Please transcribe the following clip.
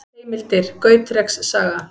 Heimildir: Gautreks saga.